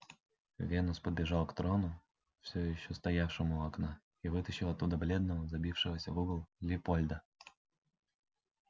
венус побежал к трону всё ещё стоявшему у окна и вытащил оттуда бледного забившегося в угол лепольда